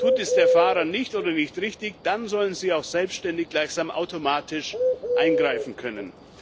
Tut der Fahrer dies nicht oder nicht richtig, dann sollen sie auch selbständig gleichsam automatisch eingreifen können.